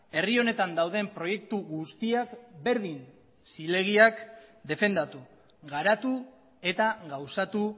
herri honetan dauden proiektu guztiak berdin zilegiak defendatu garatu eta gauzatu